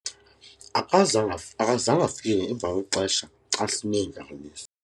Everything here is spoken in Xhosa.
akazange akazange afike emva kwexesha xa sineentlanganiso